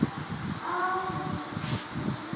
Áðan var það bleikt.